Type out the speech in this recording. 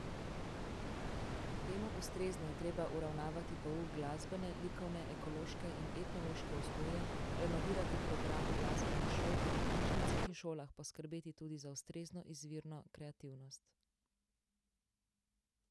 Temu ustrezno je treba uravnavati pouk glasbene, likovne, ekološke in etnološke vzgoje, renovirati programe glasbenih šol ter po knjižnicah in šolah poskrbeti tudi za ustrezno izvirno kreativnost.